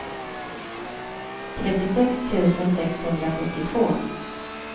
trettiosex tusen sexhundrasjuttiotvå